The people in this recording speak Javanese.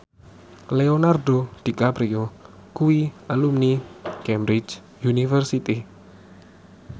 Leonardo DiCaprio kuwi alumni Cambridge University